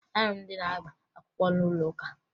Ahụrụ m ndị na-agba akwụkwọ n'ụlọ ụka